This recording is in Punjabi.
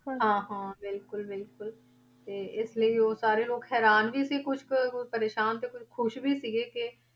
ਹਾਂ ਹਾਂ ਬਿਲਕੁਲ ਬਿਲਕੁਲ ਤੇ ਇਸ ਲਈ ਉਹ ਸਾਰੇ ਲੋਕ ਹੈਰਾਨ ਵੀ ਸੀ, ਕੁਛ ਕੁ ਪਰੇਸਾਨ ਤੇ ਕੁਛ ਖ਼ੁਸ਼ ਵੀ ਸੀਗੇ ਕਿ